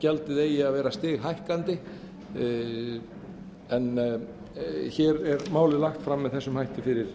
gjaldið eigi að vera stighækkandi en hér er málið lagt fram með þessum hætti fyrir